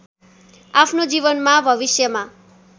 आफ्नो जीवनमा भविष्यमा